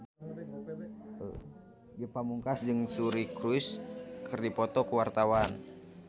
Ge Pamungkas jeung Suri Cruise keur dipoto ku wartawan